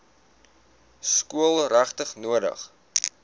skool regtig nodig